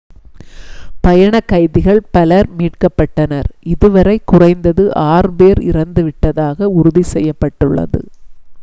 பணயக்கைதிகள் பலர் மீட்கப்பட்டனர் இது வரை குறைந்தது 6 பேர் இறந்துவிட்டதாக உறுதி செய்யப்பட்டுள்ளது